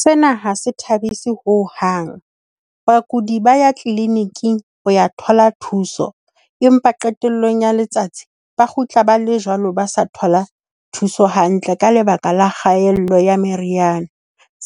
Sena ha se thabise ho hang. Bakudi ba ya clinic-ing ho ya thola thuso, empa qetellong ya letsatsi ba kgutla ba le jwalo, ba sa thola thuso hantle ka lebaka la kgaello ya meriana.